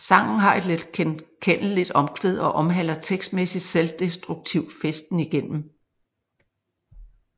Sangen har et letgenkendeligt omkvæd og omhandler tekstmæssigt selvdestruktiv festen igennem